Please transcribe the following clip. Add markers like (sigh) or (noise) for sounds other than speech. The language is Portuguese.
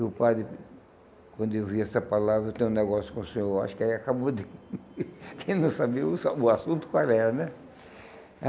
E o padre, quando ouviu essa palavra, eu tenho um negócio com o senhor, acho que ele acabou de... (laughs) quem não sabia (unintelligible) o assunto qual era, né?